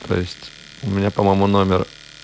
то есть у меня по-моему номер